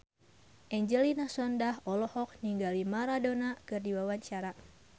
Angelina Sondakh olohok ningali Maradona keur diwawancara